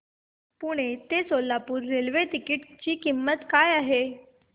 पुणे ते Solapur railway ticket ची किंमत काय आहे